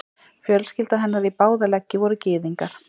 Fjölskylda hennar í báða leggi voru gyðingar.